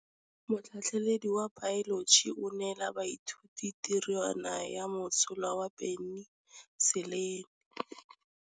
Motlhatlhaledi wa baeloji o neela baithuti tirwana ya mosola wa peniselene.